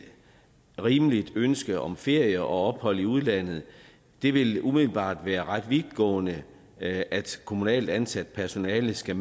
rimeligt ønske om ferie og ophold i udlandet det vil umiddelbart være ret vidtgående at kommunalt ansat personale skal